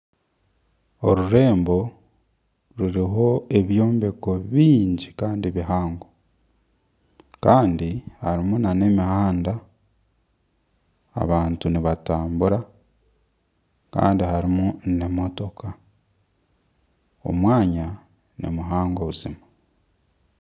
Orurembo ruriho ebyombeko bingi kandi bihango kandi harimu nana emihanda abantu nibatambura kandi harimu n'emotoka, omwanya nimuhango buzima